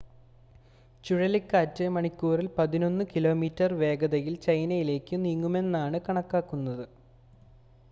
ചുഴലിക്കാറ്റ് മണിക്കൂറിൽ പതിനൊന്ന് കിലോമീറ്റർ വേഗതയിൽ ചൈനയിലേക്ക് നീങ്ങുമെന്നാണ് കണക്കാക്കുന്നത്